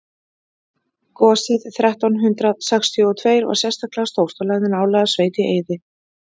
gosið þrettán hundrað sextíu og tveir var einstaklega stórt og lagði nálæga sveit í eyði